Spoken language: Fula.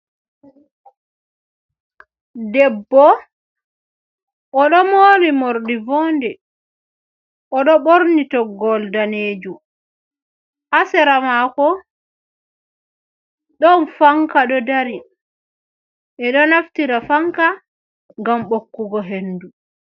Debbo, o ɗo mori morɗi voonde. O ɗo ɓorni toggowol daneejum. Ha sera maako, ɗon fanka ɗo dari. Ɓe ɗo naftira fanka, ngam bokkugo hendu.